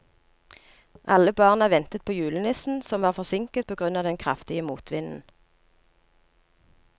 Alle barna ventet på julenissen, som var forsinket på grunn av den kraftige motvinden.